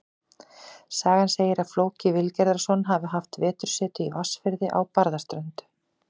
Sagan segir að Flóki Vilgerðarson hafi haft vetursetu í Vatnsfirði á Barðaströnd.